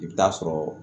I bɛ taa sɔrɔ